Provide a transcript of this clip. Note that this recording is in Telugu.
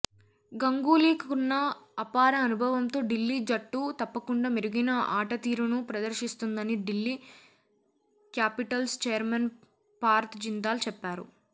గంగూలీకున్న అపార అనుభవంతో ఢిల్లీ జట్టు తప్పకుండా మెరుగైన ఆటతీరును ప్రదర్శిస్తుందని ఢిల్లీ క్యాపిటల్స్ చైర్మన్ పార్థ్ జిందాల్ చెప్పారు